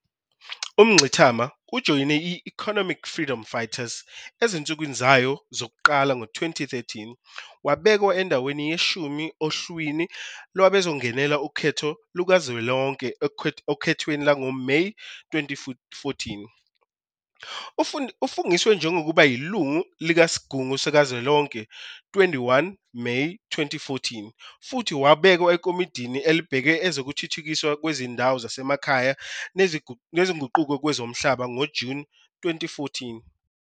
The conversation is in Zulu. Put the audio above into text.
UMngxitama ujoyine i- Economic Freedom Fighters ezinsukwini zayo zokuqala ngo-2013 wabekwa endaweni yeshumi ohlwini lwabazongenela ukhetho lukazwelonke okhethweni lwangoMeyi 2014. Ufungiswe njengoba iLungu kuSigungu Savelonkhe 21 Meyi 2014 futhi wabelwa eKomidi abhekele Wezokuthuthukiswa Kwezindawo Zasemakhaya Nezinguquko Kwezomhlaba ngoJuni 2014.